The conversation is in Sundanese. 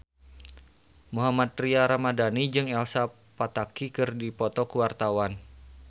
Mohammad Tria Ramadhani jeung Elsa Pataky keur dipoto ku wartawan